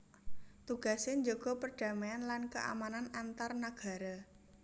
Tugasé njaga perdamaian lan keamanan antar nagara